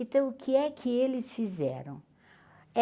Então, o que é que eles fizeram?